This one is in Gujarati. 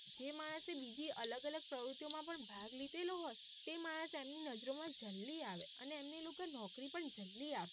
પણ ભાગ લિધેલો હોય તે માણસ એમની નજરો માં જલ્દી આવે અને એમને એ લોકો નોકરી પણ જે માણસ એ બીજી અલગ અલગ પ્રવૃતિઓ માં જલ્દી આપે.